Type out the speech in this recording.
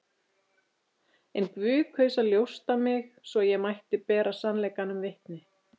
En Guð kaus að ljósta mig, svo ég mætti bera sannleikanum vitni.